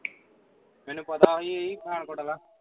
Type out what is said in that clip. ਮੈਨੂੰ ਪਤਾ ਸੀ ਉਹ ਹੀ ਪਠਾਨਕੋਟ ਵਾਲਾ